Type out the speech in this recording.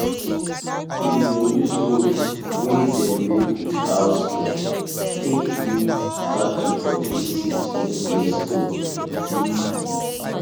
we bin use rope wey dem make with cow skin take lead cattle for places wey get stone plenty